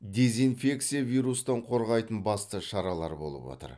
дезинфекция вирустан қорғайтын басты шаралар болып отыр